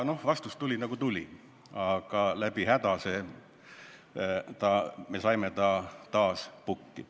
Vastus tuli, nagu ta tuli, ja läbi häda me saime ta taas pukki.